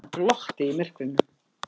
Hann glotti í myrkrinu.